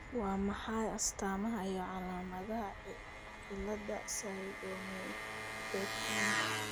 Waa maxay astamaha iyo calaamadaha cilada Pseudoaminopterinka?